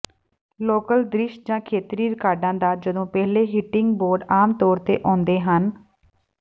local ਦ੍ਰਿਸ਼ ਜਾਂ ਖੇਤਰੀ ਰਿਕਾਰਡਾਂ ਦਾ ਜਦੋਂ ਪਹਿਲੇ ਹਿੱਟਿੰਗਬੋਰਡ ਆਮ ਤੌਰ ਤੇ ਆਉਂਦੇ ਹਨ